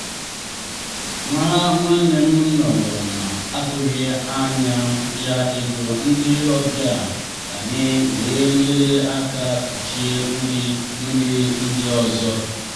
nwa nwanne m nọrọ na-atụghị anya ya ego ndị ọbịa anyị wee nyere aka kpuchie nri nri ndị ọzọ.